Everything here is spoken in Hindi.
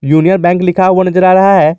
यूनियन बैंक लिखा हुआ नजर आ रहा है।